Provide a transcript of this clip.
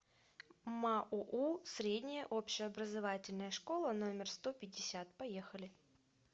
маоу средняя общеобразовательная школа номер сто пятьдесят поехали